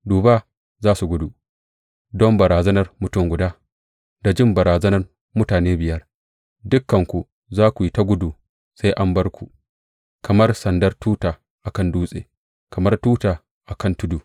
Dubu za su gudu don barazanar mutum guda; da jin barazanar mutane biyar dukanku za ku yi ta gudu sai an bar ku kamar sandar tuta a kan dutse, kamar tuta a kan tudu.